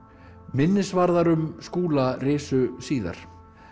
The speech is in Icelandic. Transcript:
minnisvarðar um Skúla risu síðar